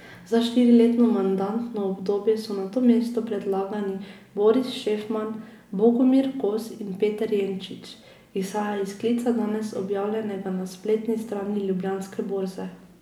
Za štiriletno mandatno obdobje so na to mesto predlagani Boris Šefman, Bogomir Kos in Peter Jenčič, izhaja iz sklica, danes objavljenega na spletni strani Ljubljanske borze.